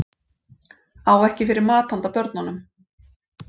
Á ekki fyrir mat handa börnunum